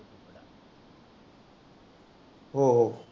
हो हो.